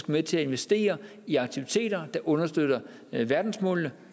med til at investere i aktiviteter der understøtter verdensmålene